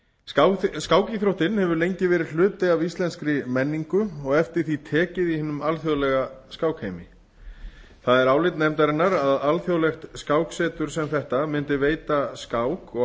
skákíþróttin hefur lengi verið hluti af íslenskri menningu og eftir því tekið í hinum alþjóðlega skákheimi það er álit nefndarinnar að alþjóðlegt skáksetur sem þetta mundi veita skák og